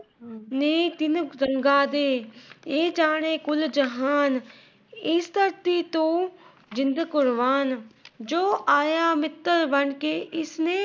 ਨੀ ਦਿਨ ਗੰਗਾ ਦੇ, ਇਹ ਜਾਨੇ ਕੁਲ ਜਹਾਨ, ਇਸ ਧਰਤੀ ਤੋਂ ਜਿੰਦ ਕੁਰਬਾਨ, ਜੋ ਆਇਆ ਮਿੱਤਰ ਬਣਕੇ ਇਸ ਨੇ ।